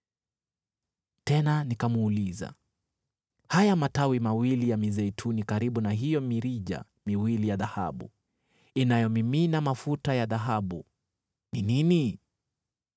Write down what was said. Tena nikamuuliza, “Haya matawi mawili ya mizeituni karibu na hiyo mirija miwili ya dhahabu inayomimina mafuta ya dhahabu ni nini?”